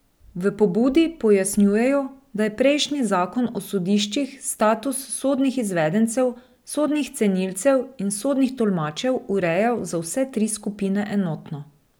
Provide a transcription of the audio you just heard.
V pobudi pojasnjujejo, da je prejšnji zakon o sodiščih status sodnih izvedencev, sodnih cenilcev in sodnih tolmačev urejal za vse tri skupine enotno.